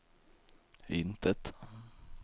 intet